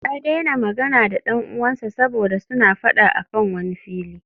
Ya daina magana da dan uwansa saboda suna fada a kan wani fili